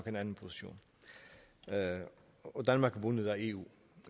en anden position og danmark er bundet af eu